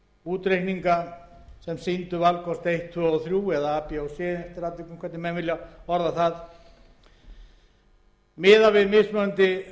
útreikninga sem sýndu valkost eitt tvö og þrjú eða a b og c eftir atvikum eftir því hvernig menn vilja orða það miðað við mismunandi